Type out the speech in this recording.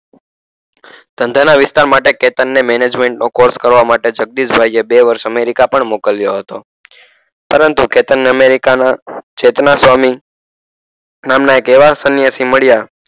ધંધાના વિસ્તાર માટે કેતનને management નો course કરવા માટે જગદીશભાઈએ બે વર્ષ અમેરિકા પણ મોકલ્યો હતો પરંતુ કેતનને અમેરિકાના ચેતનાસ્વામિ નામના એક એવા સન્યાસી મળ્યા